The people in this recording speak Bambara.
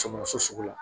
Sɔmɔ so sugu la